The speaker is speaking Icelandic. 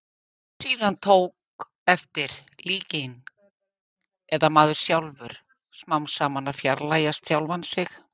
Síðan tók eftir- líkingin, eða maðurinn sjálfur, smám saman að fjarlægjast sjálfan sig.